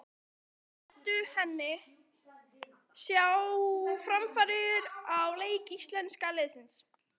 En fannst Eddu henni sjá framfarir á leik íslenska liðsins?